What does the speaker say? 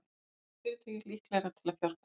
Samþætt fyrirtæki líklegra til að fjárfesta